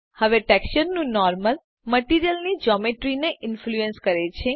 હવે ટેક્સચરનું નોર્મલ મટીરીઅલની જોમેટ્રીને ઇન્ફ્લુઅન્સ કરે છે